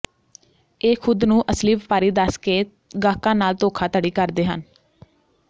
ਇਹ ਖੁੱਦ ਨੂੰ ਅਸਲੀ ਵਪਾਰੀ ਦੱਸ ਕੇ ਗਾਹਕਾਂ ਨਾਲ ਧੋਖਾਧੜੀ ਕਰਦੇ ਹਨ